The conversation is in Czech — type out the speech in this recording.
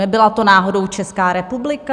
Nebyla to náhodou Česká republika?